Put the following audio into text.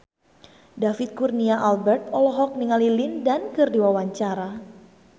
David Kurnia Albert olohok ningali Lin Dan keur diwawancara